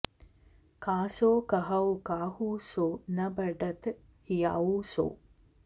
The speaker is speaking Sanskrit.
कासों कहौं काहू सों न बढ़त हियाउ सो